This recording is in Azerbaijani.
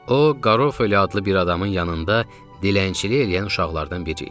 O, Garofoli adlı bir adamın yanında dilənçilik eləyən uşaqlardan biri idi.